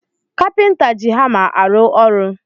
Kapinta ji hama arụ ọrụ